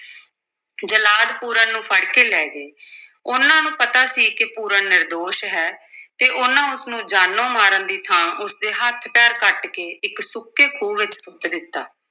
ਜਲਾਦ ਪੂਰਨ ਨੂੰ ਫੜ ਕੇ ਲੈ ਗਏ ਉਨ੍ਹਾਂ ਨੂੰ ਪਤਾ ਸੀ ਕਿ ਪੂਰਨ ਨਿਰਦੋਸ਼ ਹੈ ਤੇ ਉਨ੍ਹਾਂ ਉਸ ਨੂੰ ਜਾਨੋਂ ਮਾਰਨ ਦੀ ਥਾਂ ਉਸ ਦੇ ਹੱਥ-ਪੈਰ ਕੱਟ ਕੇ ਇੱਕ ਸੁੱਕੇ ਖੂਹ ਵਿੱਚ ਸੁੱਟ ਦਿੱਤਾ।